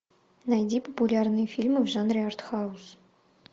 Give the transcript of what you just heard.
найди популярные фильмы в жанре арт хаус